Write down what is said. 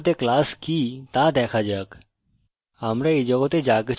এখন বাস্তব জগতে class কি তা দেখা যাক